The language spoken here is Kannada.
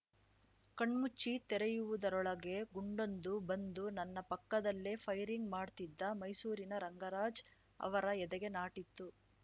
ಕಣ್ಮುಚ್ಚಿ ತೆರೆಯುವುದರೊಳಗೆ ಗುಂಡೊಂದು ಬಂದು ನನ್ನ ಪಕ್ಕದಲ್ಲೇ ಫೈರಿಂಗ್‌ ಮಾಡ್ತಿದ್ದ ಮೈಸೂರಿನ ರಂಗರಾಜ್‌ ಅವರ ಎದೆಗೆ ನಾಟಿತ್ತು